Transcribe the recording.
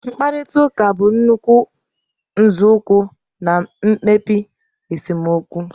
Mkparịta ụka bụ nnukwu nzọụkwụ na mkpebi esemokwu